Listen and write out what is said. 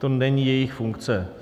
To není jejich funkce.